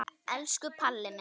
Elsku Palli minn.